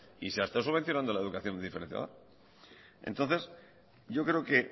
y se ha estado subvencionando la educación diferenciada entonces yo creo que